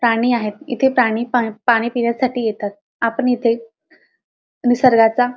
पाणी आहे इथे पाणी पा पाणी पिण्यासाठी येतात आपण इथे निसर्गाचा--